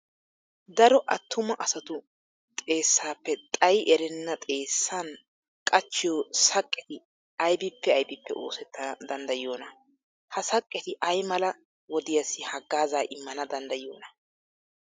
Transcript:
Daro attuma asatu xeessaappe xayi erenna xeessan qachchiyo saqqeti aybippe aybippe oosettana danddayiyoonaa? Ha saqqeti ay mala wodiyassi haggaazaa immana danddayiyoonaa?